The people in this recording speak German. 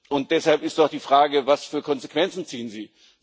Und deshalb ist doch die Frage Was für Konsequenzen ziehen Sie?